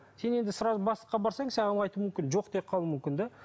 сен енді сразу бастыққа барсаң саған ол айтуы мүмкін жоқ деп қалуы мүмкін де